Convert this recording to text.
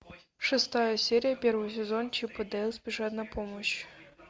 шестая серия первый сезон чип и дейл спешат на помощь